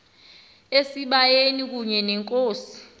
esibayeni kunye nenkosi